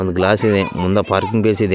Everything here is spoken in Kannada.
ಒಂದ್‌ ಗ್ಲಾಸ್‌ ಇದೆ ಮುಂದೆ ಪಾರ್ಕಿಂಗ್‌ ಬೇಸ್‌ ಇದೆ.